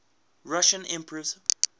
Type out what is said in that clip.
russian emperors